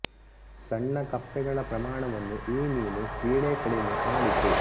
ಸಣ್ಣ ಕಪ್ಪೆಗಳ ಪ್ರಮಾಣವನ್ನು ಈ ಮೀನು ಕ್ರೀಡೆ ಕಡಿಮೆ ಮಾಡಿತು